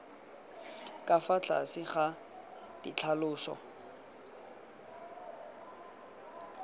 ka fa tlase ga ditlhaloso